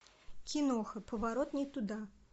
киноха поворот не туда